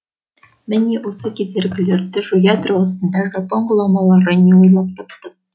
міне осы кедергілерді жоя тұрғысында жапон ғұламалары не ойлап тапты